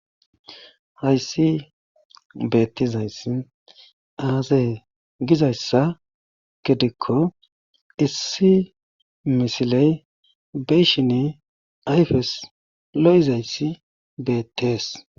Hayssi beettizayssi aaze giizayssa gidikko issi misiley be7ishini ayfes lo7izayssi beetees.